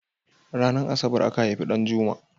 Ranar asabar aka haifi Ɗanjuma?